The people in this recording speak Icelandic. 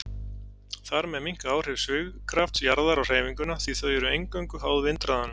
Þar með minnka áhrif svigkrafts jarðar á hreyfinguna því þau eru eingöngu háð vindhraðanum.